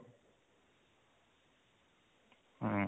ହୁଁ